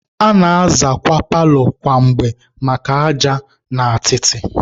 A na-azakwa paalọ kwa mgbe maka aja na atịtị.